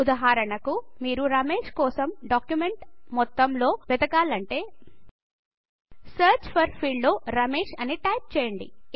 ఉదాహరణకు మీరు రమేశ్ కోసం డాక్యుమెంట్ మొత్తం లో వేదకాలంటే సెర్చ్ ఫోర్ ఫీల్డ్ లో రమేశ్ అని టైపు చేయండి